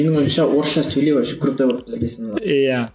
менің ойымша орысша сөйлеу вообще круто болып бізге саналады иә